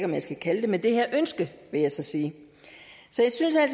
jeg skal kalde det men det her ønske vil jeg så sige